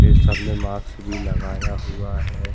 ये सब ने माक्स भी लगाया हुआ है।